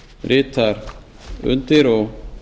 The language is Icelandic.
ritar undir og